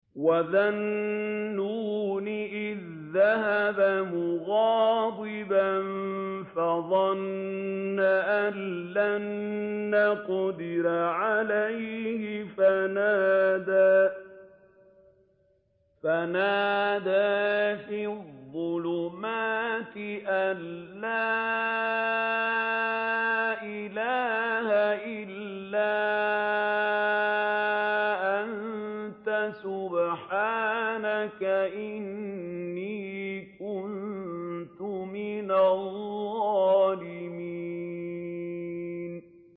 وَذَا النُّونِ إِذ ذَّهَبَ مُغَاضِبًا فَظَنَّ أَن لَّن نَّقْدِرَ عَلَيْهِ فَنَادَىٰ فِي الظُّلُمَاتِ أَن لَّا إِلَٰهَ إِلَّا أَنتَ سُبْحَانَكَ إِنِّي كُنتُ مِنَ الظَّالِمِينَ